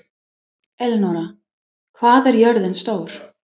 Elenóra, hvað er jörðin stór?